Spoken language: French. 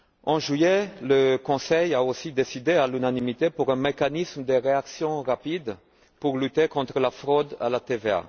En juillet, le Conseil a aussi décidé à l'unanimité d'un mécanisme de réaction rapide pour lutter contre la fraude à la TVA.